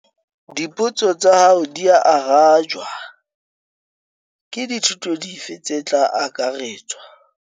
Dipotso tsa hao dia arajwa. Ke dithuto dife tse tla akaretswa?